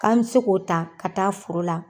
K'an mɛ se k'o ta ka taa foro la.